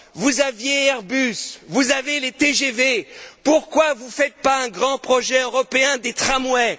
Vous aviez Airbus, vous avez les TGV. Pourquoi ne faites vous pas un grand projet européen des tramways?